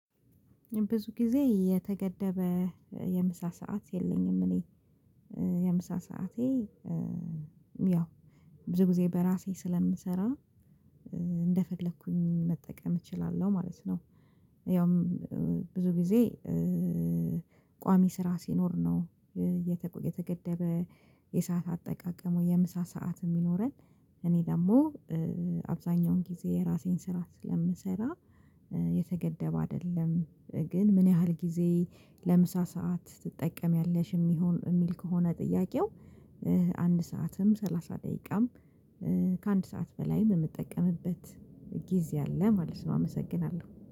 ብዙ ጊዜ የተገደበ የምሳ ሰዓት የለኝም። እኔ የምሳ ሰዓቴ ያው ብዙ ጊዜ በራሴ ስለምሰራ እንደፈለኩኝ መጠቀም እችላለሁ ማለት ነው። ያውም ብዙ ጊዜ። ቋሚ ስራ ሲኖር ነው። የተገደበ የሰዓት አጠቃቀም የምሳ ሰዓት የሚኖረን። እኔ ደግሞ አብዛኛውን ጊዜ ራሴን ስራ ስለምሰራ የተገደበ አይደለም። ግን ምን ያህል ጊዜ ለምሳ ሰዓት ትጠቀሚያለሽ የሚሆን የሚል ከሆነ ጥያቄው? አንድ ሰዓትም ሰላሳ ደቂቃም ከአንድ ሰዓት በላይ በምጠቀምበት ጊዜ አለ ማለት ነው። አመሰግናለሁ